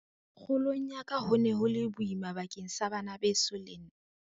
"Kgolong ya ka ho ne ho le boima bakeng sa bana beso le nna."